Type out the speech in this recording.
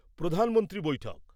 প্রধানমন্ত্রী বৈঠক